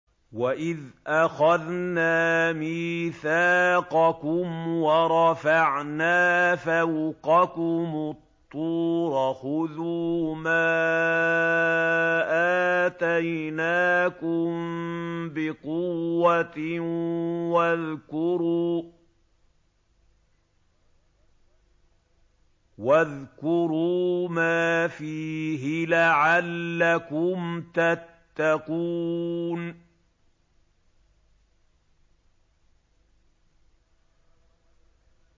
وَإِذْ أَخَذْنَا مِيثَاقَكُمْ وَرَفَعْنَا فَوْقَكُمُ الطُّورَ خُذُوا مَا آتَيْنَاكُم بِقُوَّةٍ وَاذْكُرُوا مَا فِيهِ لَعَلَّكُمْ تَتَّقُونَ